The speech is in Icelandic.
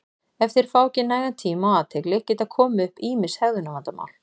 ef þeir fá ekki nægan tíma og athygli geta komið upp ýmis hegðunarvandamál